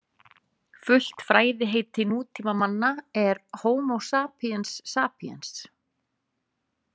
Fullt fræðiheiti nútímamanna er Homo sapiens sapiens.